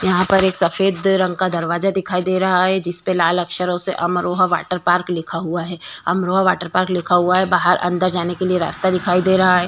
यहाँ पर एक सफ़ेद रंग का दरवाजा दिखाई दे रहा है जिसपे लाल अक्षरों से अमरोहा वाटर पार्क लिखा हुआ है। अमरोहा वाटर पार्क लिखा हुआ है। बाहर अंदर जाने के लिए रास्ता दिखाई दे रहा है।